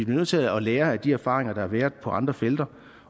nødt til at lære af de erfaringer der har været på andre felter